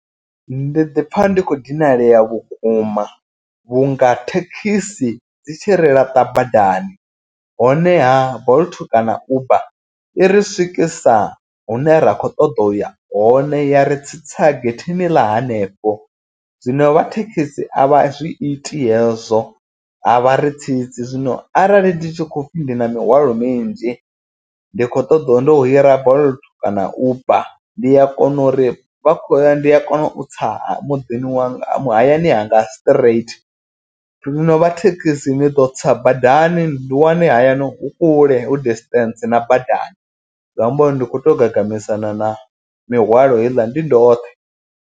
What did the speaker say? Ndi ḓi pfha ndi khou dinalea vhukuma vhunga thekhisi dzi tshi ri laṱa badani. Honeha bolt kana uber i ri swikisa hune ra kho ṱoḓa uya hone ya ri tsitsa getheni ḽa hanefho. Zwino vha thekisi avha zwi iti hezwo a vha ri tsitsi. Zwino arali ndi tshi khou pfhi ndi na mihwalo minzhi ndi khou ṱoḓiwa ndo hira bolt kana uber ndi a kona uri vha khou ya ndi a kona u tsa muḓini wa hayani hanga straight. Zwio vha thekisi ni ḓo tsa badani ndi wane hayani hu kule hu distance na badani. Zwi amba uri ndi kho to gagamisana na mihwalo heiḽa ndi ndoṱhe.